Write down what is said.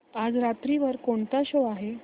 आज रात्री वर कोणता शो आहे